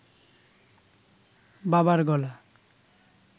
বাবার গলা